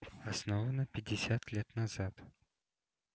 основана пятьдесят лет назад